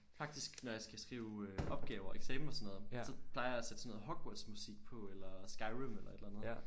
Faktisk når jeg skal skrive øh opgaver eksamen og sådan noget så plejer jeg at sætte sådan noget Hogwarts musik på eller Skyrim eller et eller andet